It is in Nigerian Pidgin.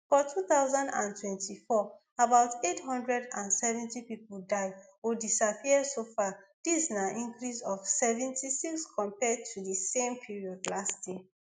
for two thousand and twenty-four about eight hundred and seven pipo die or disappear so far dis na increase of seventy-six compared to di same period last year